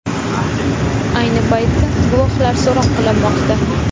Ayni paytda guvohlar so‘roq qilinmoqda.